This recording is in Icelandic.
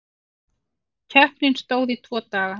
Keppni stóð í tvo daga.